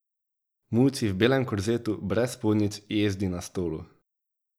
Muci v belem korzetu, brez spodnjic, jezdi na stolu.